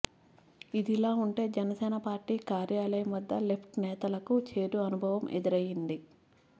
ఇదిలా ఉంటే జనసేన పార్టీ కార్యాలయం వద్ద లెఫ్ట్ నేతలకు చేదు అనుభవం ఎదురైంది